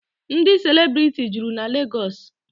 Ndị celebrity juru na Legọọsị.